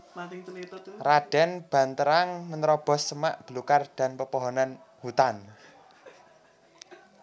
Raden Banterang menerobos semak belukar dan pepohonan hutan